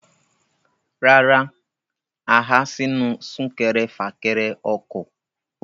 Rárá, a há sínú súnkẹrẹfàkẹrẹ ọkọ̀.